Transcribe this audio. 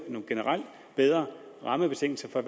nogle generelt bedre rammebetingelser og